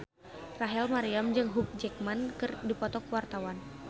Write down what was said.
Rachel Maryam jeung Hugh Jackman keur dipoto ku wartawan